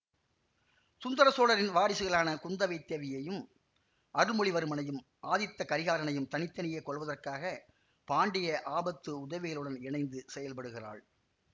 சுந்தர சோழரின் வாரிசுகளான குந்தவை தேவியையும் அருள்மொழிவர்மனையும் ஆதித்த கரிகாலனையும் தனி தனியே கொல்வதற்காக பாண்டிய ஆபத்து உதவிகளுடன் இணைந்து செயல்படுகிறாள்